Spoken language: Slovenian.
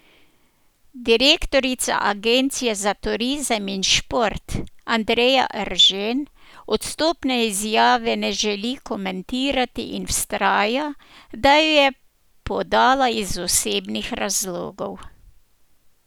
Direktorica Agencije za turizem in šport Andreja Eržen odstopne izjave ne želi komentirati in vztraja, da jo je podala iz osebnih razlogov.